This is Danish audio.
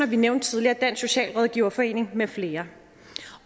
vi nævnte tidligere dansk socialrådgiverforening med flere